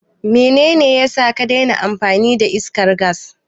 Menene yasa ka daina amfani da iskar gas?